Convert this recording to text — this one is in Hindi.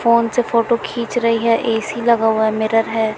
फोन से फोटो खीच रही है ए_सी लगा हुआ है मिरर है।